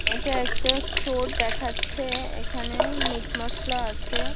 এটা একটা স্টোর দেখাচ্ছে। এখানে মিট মসলা আছে।